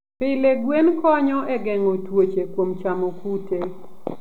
Pile, gwen konyo e geng'o tuoche kuom chamo kute.